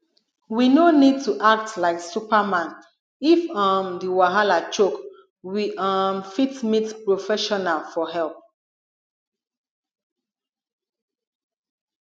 we no need to act like superman if um di wahala choke we um fit meet professional for help